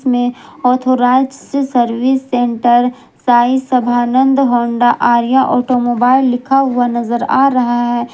में authorised service centre Sai Sabhanand Honda Arya automobile लिखा हुआ नजर आ रहा है।